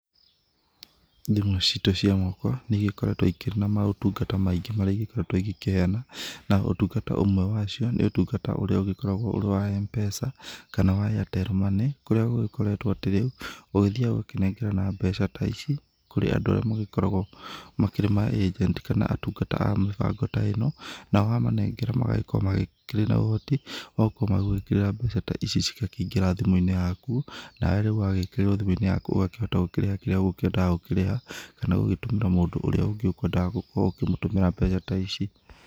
Thimũ citũ cia moko, nĩigĩkoretũo ikĩrĩ na maũtungata maingĩ marĩa igĩkoretũo igĩkĩheana. Naũtungata ũmwe wacio, nĩ ũtungata ũrĩa ũgĩkoretũo ũrĩ wa Mpesa, kana wa Airtel money, kũrĩa gũgĩkoretũo atĩ rĩu, ũgĩthiaga ũgakĩnengerana mbeca ta ici, kũrĩ andũ arĩa magĩkoragũo, makĩrĩ ma agent kana atungata a mĩbango ta ĩno, nao wamanengera magagĩkorũo makĩrĩ na ũhoti, wa gũkorũo magĩgũĩkĩrĩra mbeca ta ici cigakĩingĩra thimũinĩ yaku, nawe rĩu ũgagĩkĩrĩrũo thimũinĩ yaku, ũgakĩhota kũrĩha kĩrĩa ũgũkĩendaga gũkĩrĩha, kana gũgĩtũmĩra mũndũ ũrĩa ũngĩ ũgũkĩendaga gũkorũo ũkĩmũtũmĩra mbeca ta ici.